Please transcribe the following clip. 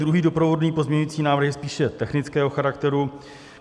Druhý doprovodný pozměňovací návrh je spíše technického charakteru.